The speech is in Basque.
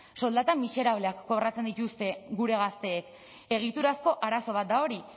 soldata miserableak kobratzen dituzte gure gazteek egiturazko arazo bat da hori